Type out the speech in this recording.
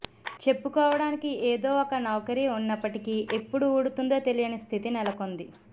చెప్పుకోవడానికి ఏదో ఒక నౌకరీ ఉన్నప్పటికీ ఎప్పుడు ఊడుతుందో తెలియని స్థితి నెలకొంది